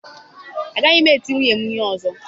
Agaghị m eti nwunye na ihe ọzọ.